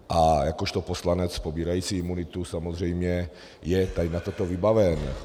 A jakožto poslanec pobírající imunitu samozřejmě je tady na toto vybaven.